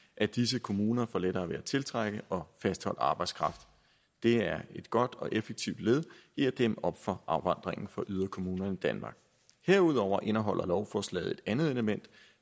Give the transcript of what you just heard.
at disse kommuner får lettere ved at tiltrække og fastholde arbejdskraft det er et godt og effektivt led i at dæmme op for afvandringen fra yderkommunerne i danmark herudover indeholder lovforslaget et andet element